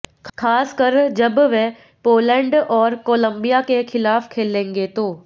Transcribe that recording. खासकर जब वे पोलैंड और कोलंबिया के खिलाफ खेलेंगे तो